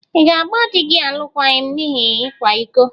Ị̀ ga-agba di gị alụkwaghịm n’ihi ịkwa iko?